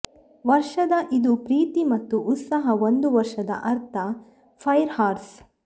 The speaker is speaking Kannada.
ವರ್ಷದ ಇದು ಪ್ರೀತಿ ಮತ್ತು ಉತ್ಸಾಹ ಒಂದು ವರ್ಷದ ಅರ್ಥ ಫೈರ್ ಹಾರ್ಸ್